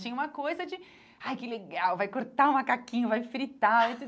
Tinha uma coisa de... Ai, que legal, vai cortar o macaquinho, vai fritar.